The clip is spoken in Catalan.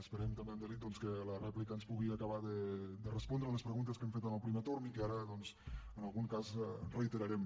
esperem també amb delit doncs que a la rèplica ens pugui acabar de respondre a les preguntes que hem fet en el primer torn i que ara doncs en algun cas reiterarem